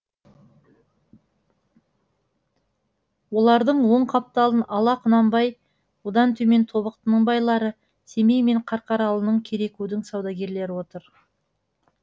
олардың оң қапталын ала құнанбай одан төмен тобықтының байлары семей мен қарқаралының керекудің саудагерлері отыр